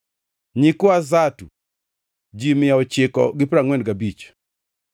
nyikwa Zatu, ji mia ochiko gi piero angʼwen gabich (945),